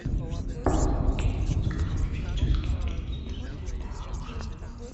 поставь кинематографический фильм смертельное оружие